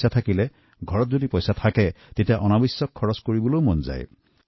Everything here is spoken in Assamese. ঘৰত বা জেপত টকা থাকিলে অযথা খৰচৰ কৰি মন যায়